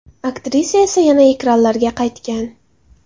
Aktrisa esa yana ekranlarga qaytgan.